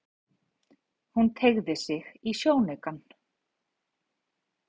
Hún teygði sig í sjónaukann.